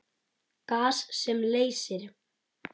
Gas sem leysir